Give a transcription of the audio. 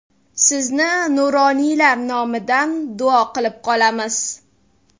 Sizni nuroniylar nomidan duo qilib qolamiz.